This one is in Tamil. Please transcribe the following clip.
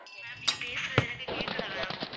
ma'am நீங்க பேசுறது எனக்கு கேட்கல ma'am